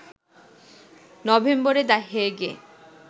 নভেম্বরে the Hague - A